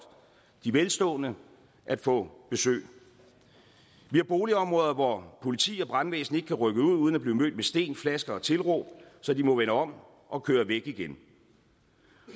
de velstående at få besøg vi har boligområder hvor politi og brandvæsen ikke kan rykke ud uden at blive mødt med sten flasker og tilråb så de må vende om og køre væk igen